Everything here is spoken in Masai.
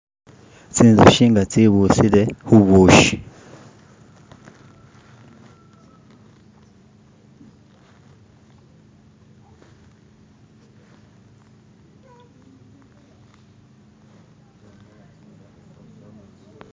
Tsinjushi nga tsebushile khubushi